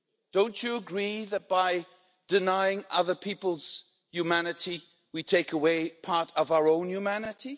Don't you agree that by denying other people's humanity, we take away part of our own humanity?